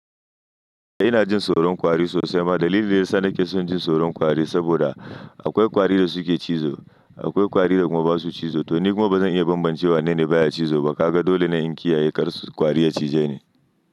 Ina jin tsoron kwari sosai amma dalilin da ya sa nake son jin tsoron kwari saboda akwai kwari da suke cizo, akwai kwari da kuma ba su cizo. To ni kuma bazan iya bambance wa ne ne baya cizo ba. Kaga dole ne in kiyaye kar kwari ya cije ni.